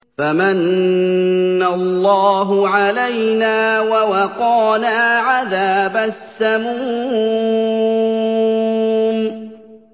فَمَنَّ اللَّهُ عَلَيْنَا وَوَقَانَا عَذَابَ السَّمُومِ